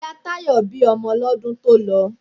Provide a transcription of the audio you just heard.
Ìyá Táyọ̀ bí ọmọ lọ́dún tó lọ.